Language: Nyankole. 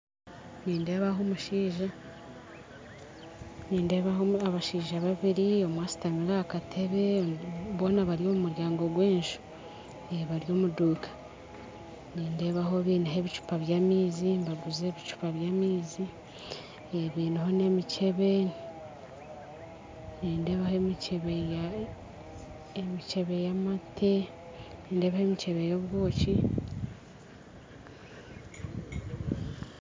Nindeeba omushaija nindeeba abashaija babiri omwe ashutamire ahakatebe boona bari omumuryango gwenju bari omuduuka nindeebaho baine ebicupa byamaizi nibaguza ebicupa byamaizi baineho nemicebe nindeebaho emicebe yamate nemicebe yobwoki